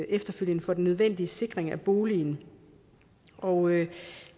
efterfølgende for den nødvendige sikring af boligen og